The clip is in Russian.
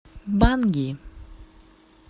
банги